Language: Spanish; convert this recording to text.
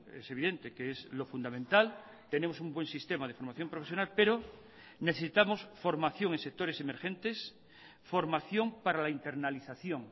es evidente que es lo fundamental tenemos un buen sistema de formación profesional pero necesitamos formación en sectores emergentes formación para la internalización